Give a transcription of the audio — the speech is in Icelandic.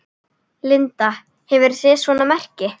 Linda: Hefurðu séð svona merki?